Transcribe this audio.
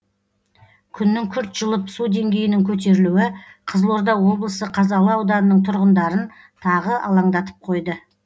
күннің күрт жылып су деңгейінің көтерілуі қызылорда облысы қазалы ауданының тұрғындарын тағы алаңдатып қойды